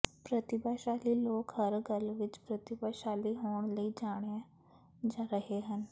ਪ੍ਰਤਿਭਾਸ਼ਾਲੀ ਲੋਕ ਹਰ ਗੱਲ ਵਿਚ ਪ੍ਰਤਿਭਾਸ਼ਾਲੀ ਹੋਣ ਲਈ ਜਾਣਿਆ ਰਹੇ ਹਨ